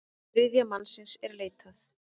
Þriðja mannsins er leitað.